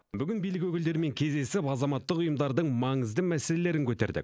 бүгін билік өкілдерімен кездесіп азаматтық ұйымдардың маңызды мәселелерін көтердік